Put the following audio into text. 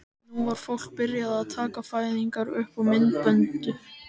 Nú var fólk byrjað að taka fæðingar upp á myndbönd.